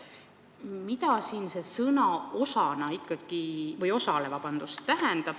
Mida see sõna "osale" siin ikkagi tähendab?